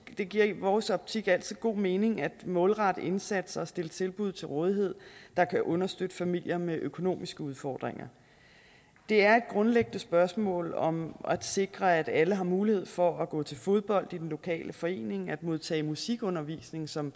det giver i vores optik altid god mening at målrette indsatser og stille tilbud til rådighed der kan understøtte familier med økonomiske udfordringer det er et grundlæggende spørgsmål om at sikre at alle har mulighed for at gå til fodbold i den lokale forening at modtage musikundervisning som